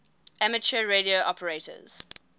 amateur radio operators